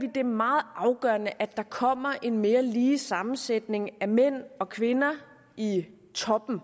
det er meget afgørende at der kommer en mere lige sammensætning af mænd og kvinder i toppen